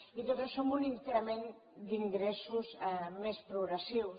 i tot això amb un increment d’ingressos més progressiu